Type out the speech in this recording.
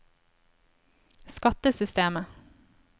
skattesystemet